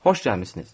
Xoş gəlmisiniz.